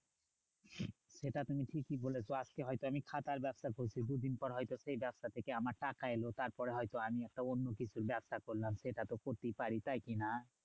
সেটা তুমি ঠিকই বলেছো, আজকে হয়তো আমি খাতার ব্যবসা করছি দুদিন পর হয়তো সেই ব্যবসা থেকে আমার টাকা এলো। তারপরে হয়তো আমি অন্য কিছুর ব্যবসা করলাম, সেটা তো করতেই পারি তাই কি না?